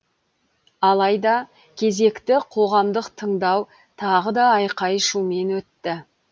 алайда кезекті қоғамдық тыңдау тағы да айқай шумен өтті